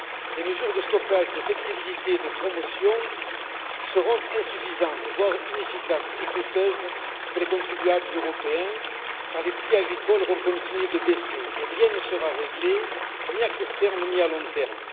Les mesures de stockage, de flexibilité et de promotion seront insuffisantes, voire inefficaces et coûteuses, pour les contribuables européens car les prix agricoles vont continuer de baisser et rien ne sera réglé, ni à court terme, ni à long terme.